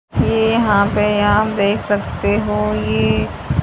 ये यहां पे आप देख सकते हो ये--